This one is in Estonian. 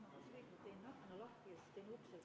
V a h e a e g